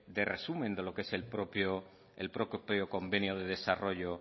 de resumen de lo que es el propio convenio de desarrollo